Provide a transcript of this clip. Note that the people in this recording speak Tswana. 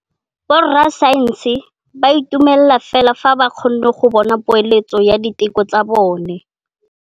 Borra saense ba dumela fela fa ba kgonne go bona poeletsô ya diteko tsa bone.